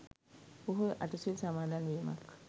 පොහොය අටසිල් සමාදන්වීමක්